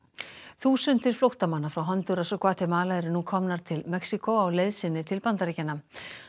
þúsundir flóttamanna frá Hondúras og Gvatemala eru nú komnar til Mexíkó á leið sinni til Bandaríkjanna